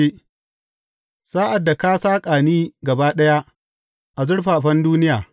Sa’ad da saƙa ni gaba ɗaya a zurfafan duniya.